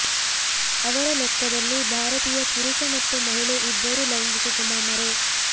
ಅವರ ಲೆಕ್ಕದಲ್ಲಿ ಭಾರತೀಯ ಪುರುಷ ಮತ್ತು ಮಹಿಳೆ ಇಬ್ಬರು ಲೈಂಗಿಕ ಗುಮಾಮರೇ